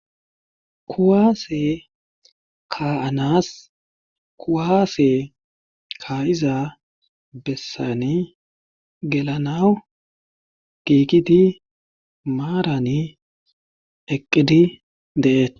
Kuwase ka'anas kuwase ka'iza besani gellanaw Gigidi marani eqidi de'etes